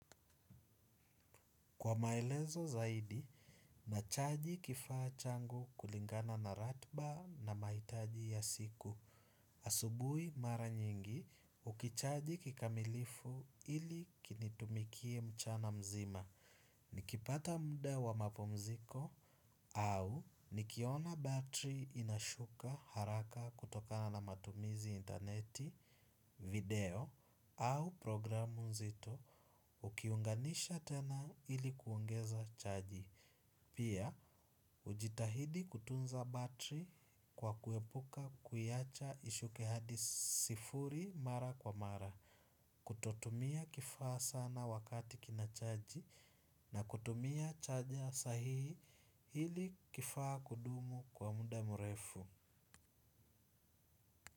Kwa maelezo zaidi, nachaji kifaa changu kulingana na ratba na maitaji ya siku. Asubui mara nyingi, ukichaji kikamilifu ili kinitumikie mchana mzima. Nikipata muda wa mapumziko, au nikiona battery inashuka haraka kutokana na matumizi interneti, video, au programu nzito ukiunganisha tena ili kuongeza chaji. Pia, hujitahidi kutunza battery kwa kuepuka kuiacha ishuke hadi sifuri mara kwa mara. Kutotumia kifaa sana wakati kina chaji na kutumia chaja sahihi ili kifaa kudumu kwa muda mrefu.